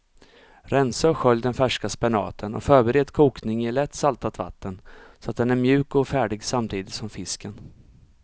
Rensa och skölj den färska spenaten och förbered kokning i lätt saltat vatten så att den är mjuk och färdig samtidigt som fisken.